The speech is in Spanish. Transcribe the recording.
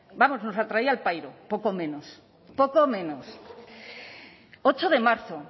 vamos nos la traía al pairo poco menos poco menos ocho de marzo